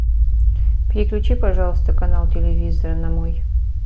переключи пожалуйста канал телевизора на мой